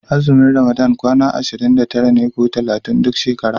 Azumin ramadana kwana ashirin da tara ne ko talatin duk shekara.